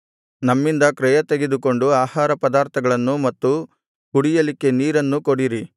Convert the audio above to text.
ನಮ್ಮಿಂದ ಕ್ರಯ ತೆಗೆದುಕೊಂಡು ಆಹಾರಪದಾರ್ಥಗಳನ್ನೂ ಮತ್ತು ಕುಡಿಯಲಿಕ್ಕೆ ನೀರನ್ನೂ ಕೊಡಿರಿ